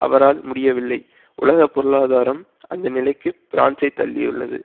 அவரால் முடியவில்லை உலக பொருளாதாரம் அந்த நிலைக்கு பிரான்சை தள்ளியுள்ளது